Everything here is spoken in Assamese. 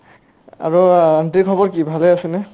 আৰু আ aunty ৰ খবৰ কি? ভালে আছে নে ?